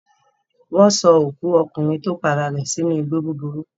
Wọ́n sọ òkú ọkùnrin tó para rẹ̀ sínú igbó búburú.